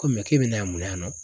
Ko mɛ k'e bɛ na yan munna yan nɔ